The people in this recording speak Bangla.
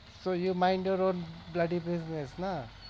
so you mind your own bloody business না?